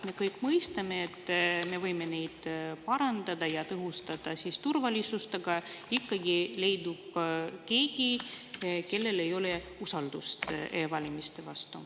Me kõik mõistame, et me võime neid parandada ja tõhustada turvalisust, aga ikka leidub keegi, kellel ei ole usaldust e-valimiste vastu.